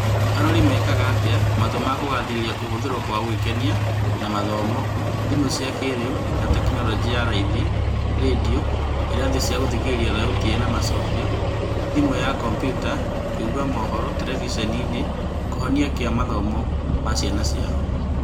arori mekaga atĩa matua ma kũgathĩrĩria kũhũthĩrwo kwa gũĩkenia na mathomo, thimũ cia kĩĩrĩu, na tekinoronjĩ ya raithi (Rendio, irathi cia gũthikĩrĩria thauti ĩna macokio, thamu ya Kambiutaya kũiga mohoro, terebiceni) kĩhonia kia mathomo ma ciana ciao?